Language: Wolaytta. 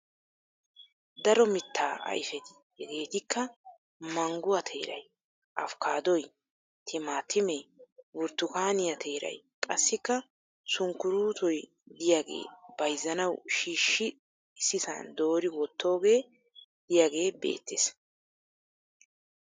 Daro mittaa ayifeti hegeetikka mangguwa teeray afkaaddoy, timaatimee, burttukaaniya teeray qassikka sunkkuruutoy diyagee bayizzanawu shiishshi issisan doori wottoogee diyagee beettes.